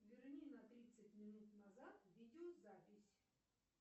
верни на тридцать минут назад видеозапись